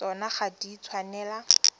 tsona ga di a tshwanela